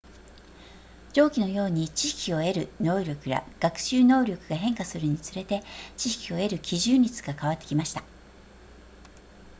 上記のように知識を得る能力や学習能力が変化するにつれて知識を得る基準率が変わってきました